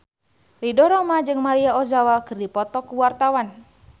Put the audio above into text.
Ridho Roma jeung Maria Ozawa keur dipoto ku wartawan